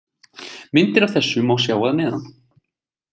Myndir af þessu má sjá að neðan.